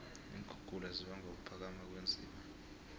iinkhukhula zibangwa kuphakama kweenziba